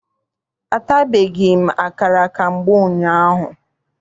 Atabeghị m akara ka mgbe ụnyaahụ.